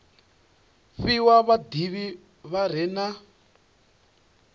fhiwa vhadivhi vha re na